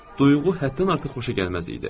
Duyğu həddən artıq xoşagəlməz idi.